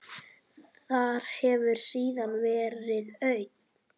Þar hefur síðan verið auðn.